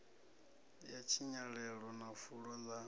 ya tshinyalelo na fulo ḽa